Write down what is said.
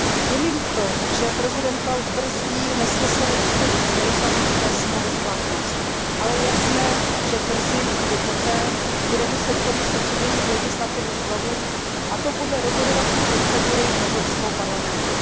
Je mi líto, že prezident Klaus nesmyslně brzdí vstup Lisabonské smlouvy v platnost, ale je jasné, že brzy tedy poté bude muset Komise předložit legislativu znovu, a to podle spolurozhodovacího postupu Evropského parlamentu.